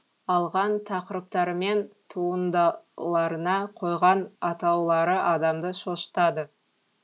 алған тақырыптары мен туындаларына қойған атаулары адамды шошытады